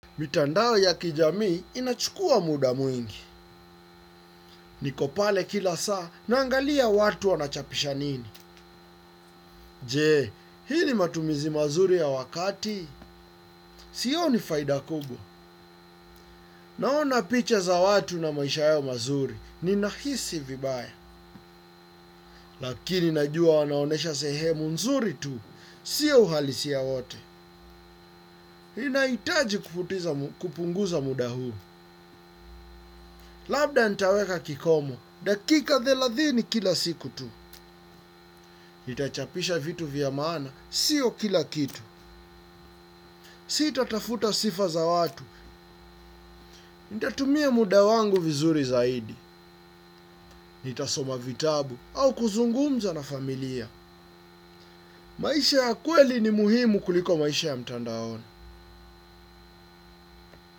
Mitandao ya kijamii inachukua muda mwingi. Niko pale kila saa, naangalia watu wanachapisha nini. Je, hii ni matumizi mazuri ya wakati, sioni faida kubwa. Naona picha za watu na maisha yao mazuri, ninahisi vibaya. Lakini najua wanaonyesha sehemu nzuri tu, sio uhalisia wote. Ninahitaji kupunguza muda huu. Labda nitaweka kikomo, dakika thelathini kila siku tu. Nitachapisha vitu vya maana, sio kila kitu. Sitatafuta sifa za watu, nitatumia muda wangu vizuri zaidi. Nitasoma vitabu au kuzungumza na familia. Maisha ya kweli ni muhimu kuliko maisha ya mtandaoni.